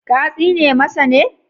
Ka tsine masa ne?